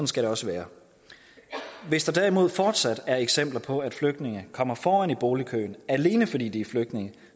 skal det også være hvis der derimod fortsat er eksempler på at flygtninge kommer foran i boligkøen alene fordi de er flygtninge